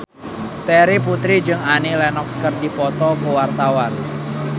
Terry Putri jeung Annie Lenox keur dipoto ku wartawan